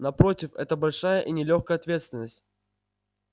напротив это большая и нелёгкая ответственность